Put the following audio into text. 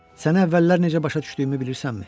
Səni əvvəllər necə başa düşdüyümü bilirsənmi?